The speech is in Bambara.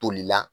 Toli la